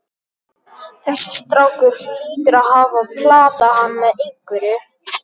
Þessi strákur hlýtur að hafa platað hann með einhverju.